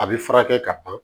A bɛ furakɛ ka ban